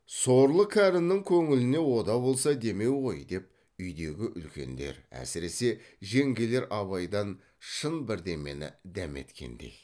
сорлы кәрінің көңліне о да болса демеу ғой деп үйдегі үлкендер әсіресе жеңгелер абайдан шын бірдемені дәметкендей